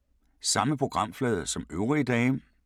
Samme programflade som øvrige dage